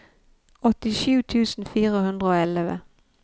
åttisju tusen fire hundre og elleve